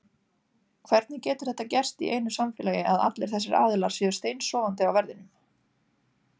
Hvernig getur þetta gerst í einu samfélagi að allir þessir aðilar séu steinsofandi á verðinum?